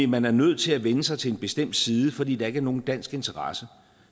man er nødt til at vende sig til en bestemt side fordi der ikke er nogen dansk interesse